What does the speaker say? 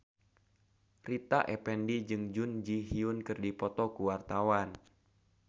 Rita Effendy jeung Jun Ji Hyun keur dipoto ku wartawan